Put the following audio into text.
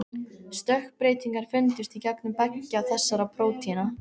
Stökkbreytingar fundust í genum beggja þessara prótína.